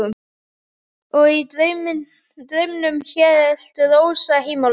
Og í draumnum hélt Rósa heim á leið.